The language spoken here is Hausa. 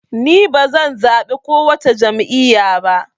Ni bazan zaɓi kowace jam'iya ba